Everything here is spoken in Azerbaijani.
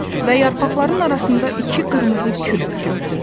Və yarpaqların arasında iki qırmızı kürk gördü.